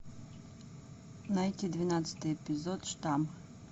найти двенадцатый эпизод штамм